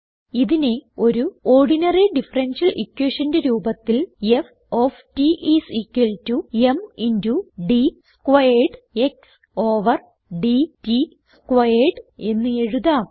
ഇതിനെ ഒരു ordinary differential equationന്റെ രൂപത്തിൽ160 F of t is equal to m into d squared x over d t squared എന്ന് എഴുതാം